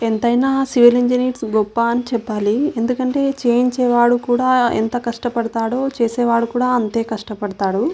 ఎంతైనా civil engineers గొప్ప అని చెప్తారు. ఎందుకంటే చేయించేవాడు కూడా ఎంత కష్టపడతాడో చేసేవాడు కూడా అంతే కష్టపడతాడు.